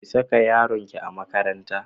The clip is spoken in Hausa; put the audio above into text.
Ki saka yaronki a makaranta.